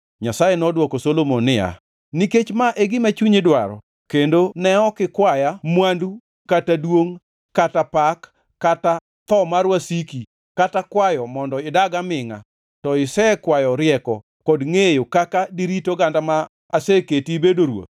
Nyasaye nodwoko Solomon niya, “Nikech ma e gima chunyi dwaro kendo ne ok ikwaya mwandu kata duongʼ kata pak, kata tho mar wasiki, kata kwayo mondo idag amingʼa, to isekwayo rieko kod ngʼeyo kaka dirit ogandana ma aseketi ibedo e ruoth,